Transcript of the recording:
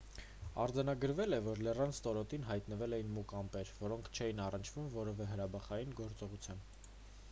արձանագրվել էր որ լեռան ստորոտին հայտնվել էին մուգ ամպեր որոնք չէին առնչվում որևէ հրաբխային գործողության